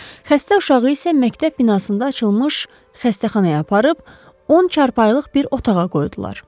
Xəstə uşağı isə məktəb binasında açılmış xəstəxanaya aparıb 10 çarpayılıq bir otağa qoydular.